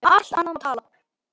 Um allt annað má tala.